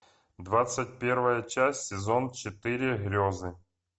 двадцать первая часть сезон четыре грезы